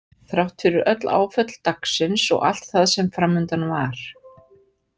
Þrátt fyrir öll áföll dagsins og allt það sem framundan var.